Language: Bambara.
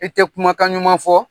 I tɛ kumakan ɲuman fɔ?